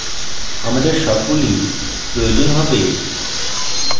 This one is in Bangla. আমাদের সব গুলি প্রয়োজন হবে